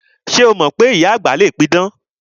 Ṣé o mọ wípé ìyá àgbà le pidàn?